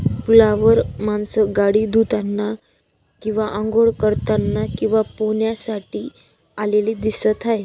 पुलावर मानस गाडी धुताना किंवा आंघोळ करतांना किंवा पोहण्या साठी आलेली दिसत आहेत.